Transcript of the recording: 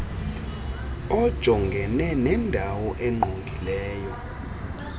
ojongene nendalo engqongileyo